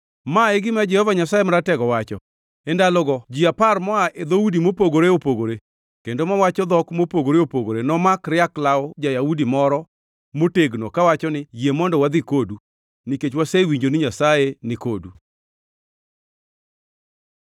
Ma e gima Jehova Nyasaye Maratego wacho: “E ndalogo ji apar moa e dhoudi mopogore opogore kendo mawacho dhok mopogore opogore nomak riak law ja-Yahudi moro motegno kawacho ni, ‘Yie mondo wadhi kodu, nikech wasewinjo ni Nyasaye nikodu.’ ”